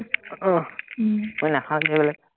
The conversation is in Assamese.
আহ মই নাখাওঁ যে সেইবিলাক